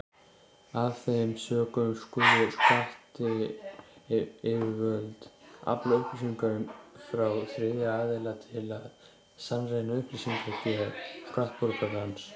Af þeim sökum skulu skattyfirvöld afla upplýsinga frá þriðja aðila til að sannreyna upplýsingagjöf skattborgarans.